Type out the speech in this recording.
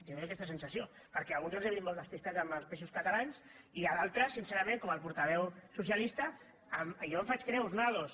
tinc aquesta sensació perquè alguns els he vist molt despistats amb els peixos catalans i d’altres sincerament com el portaveu socialista jo me’n faig creus una de dos